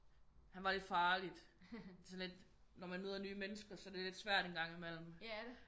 Han var lidt farlig sådan lidt når man møder nye mennesker så det er lidt svært en gang i mellem